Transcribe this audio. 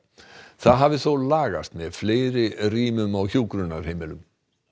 það hafi þó lagast með fleiri rýmum á hjúkrunarheimilum